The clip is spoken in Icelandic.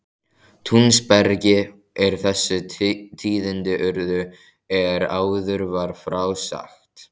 Túnsbergi er þessi tíðindi urðu er áður var frá sagt.